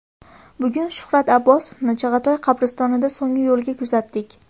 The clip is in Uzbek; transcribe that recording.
Bugun Shuhrat Abbosovni Chig‘atoy qabristonida so‘nggi yo‘lga kuzatdik.